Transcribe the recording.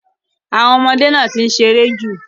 Àwọn ọmọdé náà ti ń ṣe eré jù.